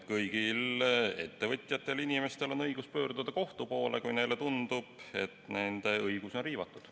Kõigil inimestel, sh ettevõtjatel, on õigus pöörduda kohtu poole, kui neile tundub, et nende õigusi on riivatud.